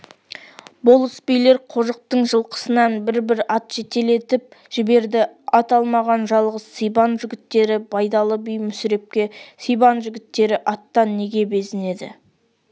болыс-билер қожықтың жылқысынан бір-бір ат жетелетіп жіберді ат алмаған жалғыз сибан жігіттері байдалы би мүсірепке сибан жігіттері аттан неге безінеді